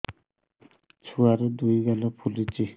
ଛୁଆର୍ ଦୁଇ ଗାଲ ଫୁଲିଚି